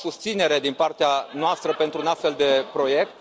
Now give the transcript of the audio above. avea susținere din partea noastră pentru un astfel de proiect...